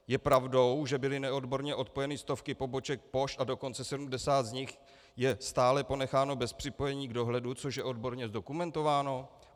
Je pravdou, že byly neodborně odpojeny stovky poboček pošt a dokonce 70 z nich je stále ponecháno bez připojení k dohledu, což je odborně zdokumentováno?